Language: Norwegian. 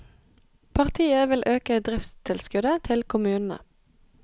Partiet vil øke driftstilskuddet til kommunene.